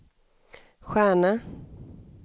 stjärna